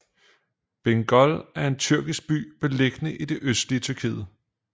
Bingöl er en tyrkisk by beliggende i det østlige Tyrkiet